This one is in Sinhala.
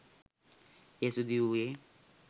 එය සිදුවූයේ